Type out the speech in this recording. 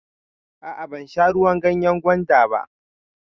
A'a, ban sha ruwan ganyan gwanda ba.